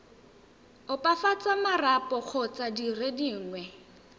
opafatsa marapo kgotsa dire dingwe